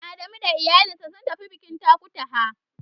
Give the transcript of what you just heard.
Adamu da iyalinsa sun tafi bikin Takutaha.